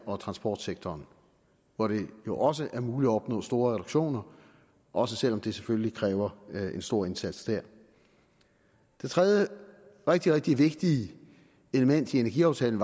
og transportsektoren hvor det jo også er muligt at opnå store reduktioner også selv om det selvfølgelig kræver en stor indsats det tredje rigtig rigtig vigtige element i energiaftalen